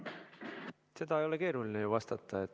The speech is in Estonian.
Sellele ei ole ju keeruline vastata.